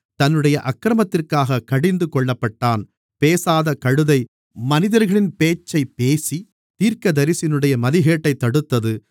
தன்னுடைய அக்கிரமத்திற்காகக் கடிந்து கொள்ளப்பட்டான் பேசாதக் கழுதை மனிதர்களின் பேச்சைப் பேசித் தீர்க்கதரிசியினுடைய மதிகேட்டைத் தடுத்தது